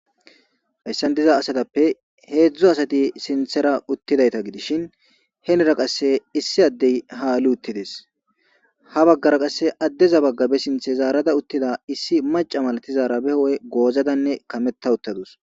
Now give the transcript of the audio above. hayssan diza asatappe heedzdzo asati sinthera uttidayta gidishin henera qasse issi addey haali uttides ha baggara qasse addeza baggabe sinthe zaarada uttida issi maca malati zaarabe ho7e goozadanne kametta uttadus